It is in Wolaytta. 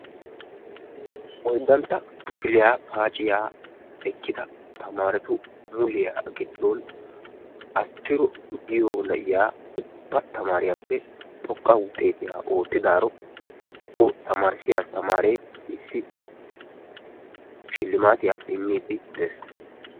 oyddantta kifiliyaa paaciyaa ekkida tamaaretu mulliyaa giddon asttiro giyoo na'iyaa tamariyaa ubba tamariyaappe xooqqa wuxxetiyaa oottidaaro o tamarissiyaa astamaree issi shillimattiyaa immidi de'ees.